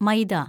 മൈദ